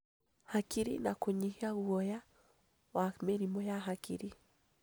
Hakiri na kũnyihia guoya wa mĩrimũ ya hakiri